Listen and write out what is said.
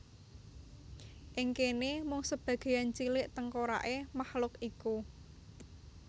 Ing kéné mung sebagéyan cilik tengkoraké mahluk iku